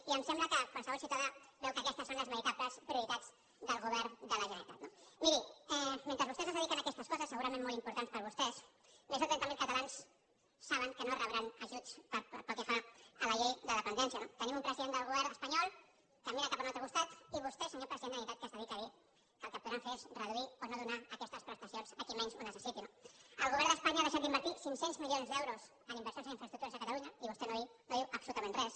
i em sembla que qualsevol ciutadà veu que aquestes són les veritables prioritats del govern de la generalitat no miri mentre vostès es dediquen a aquestes coses segurament molt importants per a vostès més de trenta mil catalans saben que no rebran ajuts pel que fa a la llei de dependència no tenim un president del govern espanyol que mira cap a un altre costat i vostè senyor president de la generalitat que es dedica a dir que el que podran fer és reduir o no donar aquestes prestacions a qui menys ho necessiti no el govern d’espanya ha deixat d’invertir cinc cents milions d’euros en inversions en infraestructures a catalunya i vostè no diu absolutament res